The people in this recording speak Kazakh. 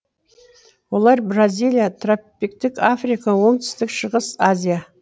олар бразилия тропиктік африка оңтүстік шығыс азия